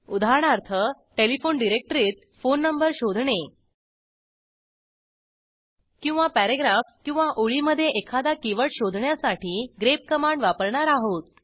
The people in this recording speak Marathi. उदाहरणार्थ टेलिफोन डिरेक्टरीत फोन नंबर शोधणे किंवा पॅरेग्राफ किंवा ओळीमधे एखादा कीवर्ड शोधण्यासाठी ग्रेप कमांड वापरणार आहोत